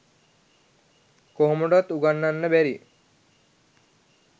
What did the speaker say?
කොහොමටවත් උගන්නන්න බැරි.